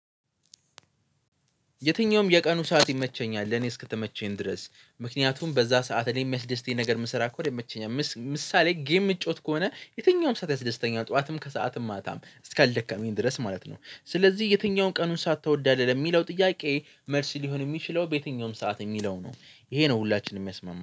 የትኛውም የቀኑ ሰዓት ይመቸኛል ለእኔ እስከተመቸኝ ድረስ ምክንያቱም በዛ ሰዓት እኔን የሚያስደስተኝ ነገር የምሰራ ከሆነ የሚመቸኝ ምሳሌ ጌም የምጫወት ከሆነ የትኛውም ሰዓት ያስደስተኛል ጠዋትም ከሰአትም ማታም እስካልደከመኝ ድረስ ማለት ነው። ስለዚህ የትኛውን ቀኑን ትወዳለ ለሚለው ጥያቄ መልስ ሊሆን የሚችለው በየትኛውም ሰዓት የሚለው ነው። ይሄ ነው ሁላችንም የሚያስማማው